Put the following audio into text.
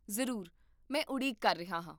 ਜ਼ਰੂਰ, ਮੈਂ ਉਡੀਕ ਕਰ ਰਿਹਾ ਹਾਂ